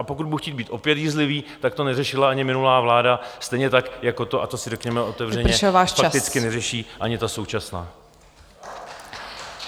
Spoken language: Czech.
A pokud budu chtít být opět jízlivý, tak to neřešila ani minulá vláda, stejně tak jako to, a to si řekněme otevřeně fakticky neřeší ani ta současná.